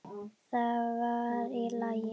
Það var í lagi.